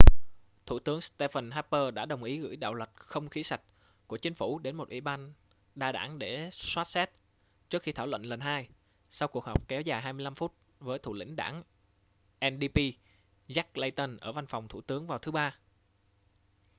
thủ tướng stephen harper đã đồng ý gửi đạo luật không khí sạch' của chính phủ đến một ủy ban đa đảng để soát xét trước khi thảo luận lần hai sau cuộc họp kéo dài 25 phút với thủ lĩnh đảng ndp jack layton ở văn phòng thủ tướng vào thứ ba